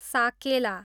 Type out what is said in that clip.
साकेला